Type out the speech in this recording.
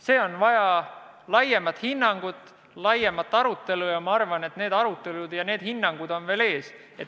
See teema vajab laiemat hinnangut, laiemat arutelu ja ma arvan, et need arutelud ja hinnangud on alles ees.